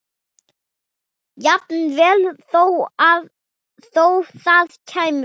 Jafnvel þó það kæmi frá